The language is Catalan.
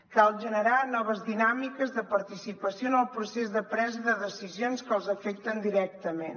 cal generar noves dinàmiques de participació en el procés de presa de decisions que els afecten directament